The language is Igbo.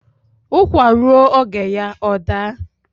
ụkwa rụọ oge ya ọ daa